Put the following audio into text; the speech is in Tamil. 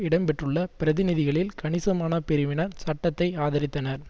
இடம்பெற்றுள்ள பிரதிநிதிகளில் கணிசமான பிரிவினர் சட்டத்தை ஆதரித்தனர்